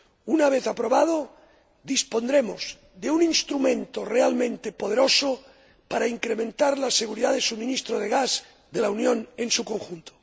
Una vez aprobado, dispondremos de un instrumento realmente poderoso para incrementar la seguridad del suministro de gas de la Unión en su conjunto.